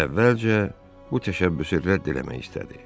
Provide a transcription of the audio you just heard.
Əvvəlcə bu təşəbbüsü rədd eləmək istədi.